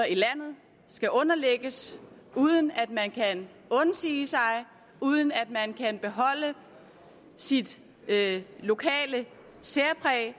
i landet skal underlægges uden at man kan undsige sig uden at man kan beholde sit lokale særpræg